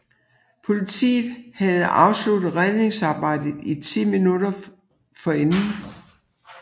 Politiet havde afsluttet redningsarbejdet ti minutter forinden